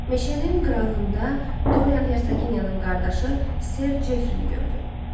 Meşənin qırağında Dorian Heraginiyanın qardaşı Ser Jefri-ni gördü.